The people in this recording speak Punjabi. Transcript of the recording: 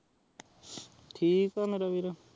ਠੀਕ ਆਹ ਮੇਰਾ ਵੀਰ